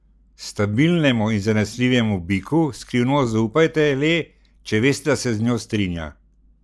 Stabilnemu in zanesljivemu biku skrivnost zaupajte le, če veste da se z njo strinja.